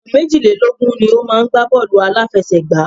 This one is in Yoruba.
Ènìyàn méjìlélógun ni o má ń gbá bọ́ọ̀lù àláfẹsẹ̀gbá.